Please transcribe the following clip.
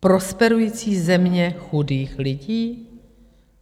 Prosperující země chudých lidí?